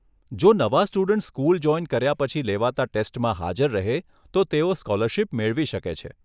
જો નવા students school join કર્યા પછી લેવાતા ટેસ્ટમાં હાજર રહે તો તેઓ સ્કોલરશીપ મેળવી શકે છે.